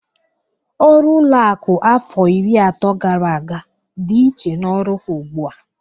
Ọrụ ụlọakụ afọ iri atọ gara aga dị iche n'ọrụ ha ugbụ a.